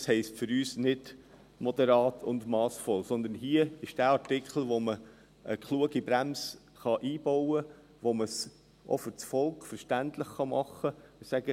Dies heisst für uns nicht moderat und massvoll, aber hier handelt es sich um den Artikel, bei dem man eine kluge Bremse einbauen und den man fürs Volk verständlich machen kann.